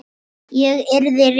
Ég yrði rekin.